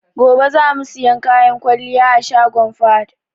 Gobe za mu siyan kayan kwalliya a shagon Fahad.